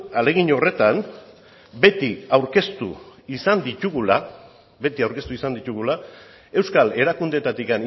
ahalegin horretan beti aurkeztu izan ditugu euskal erakundeetatik